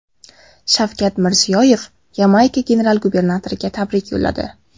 Shavkat Mirziyoyev Yamayka general-gubernatoriga tabrik yo‘lladi.